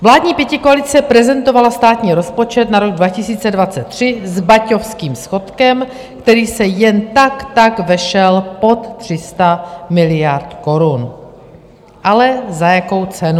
Vládní pětikoalice prezentovala státní rozpočet na rok 2023 s baťovským schodkem, který se jen tak tak vešel pod 300 miliard korun, ale za jakou cenu!